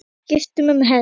Skipt um hest.